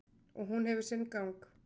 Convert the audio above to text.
Og hún hefur sinn gang.